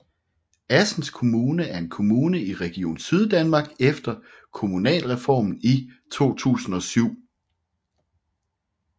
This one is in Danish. Assens Kommune er en kommune i Region Syddanmark efter Kommunalreformen i 2007